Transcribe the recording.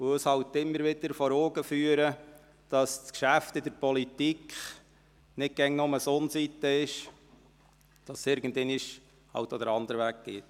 Dies führt uns halt immer wieder vor Augen, dass das Politikgeschäft nicht immer nur auf der Sonnenseite steht, sondern, dass es irgendwann auch anders läuft.